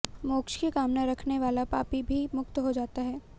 मोक्ष की कामना रखने वाला पापी भी मुक्त हो जाता है